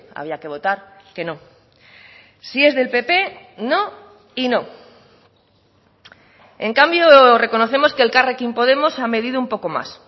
había que votar que no si es del pp no y no en cambio reconocemos que elkarrekin podemos ha medido un poco más